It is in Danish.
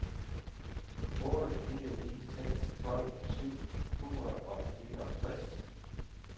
otte fire ni seks tolv syv hundrede og fireogtres